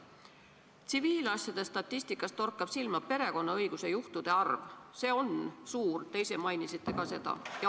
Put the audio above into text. Tsiviilasjade statistikas torkab silma perekonnaõiguse asjade arv, mis on suur, te ise mainisite ka seda.